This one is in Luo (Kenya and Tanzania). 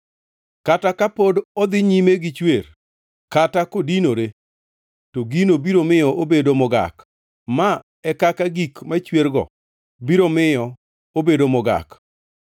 Kata ka pod odhi nyime gichwer kata kodinore, to gino biro miyo obedo mogak. Ma e kaka gik machwergo biro miyo obedo mogak.